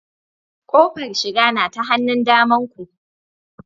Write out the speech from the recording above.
Kofar shiga na ta hannun damanku